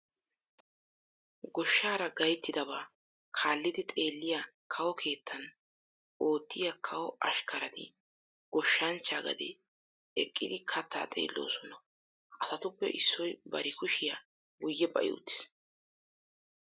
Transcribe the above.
Goshshaara gayttidabaa kaallidi xeelliya kawo keettan oottiya kawo ashkkarati goshshanchchaa gaden eqqidi kattaa xeelloosona. Ha asatuppe issoy bari kushiya guyye ba'i uttiis.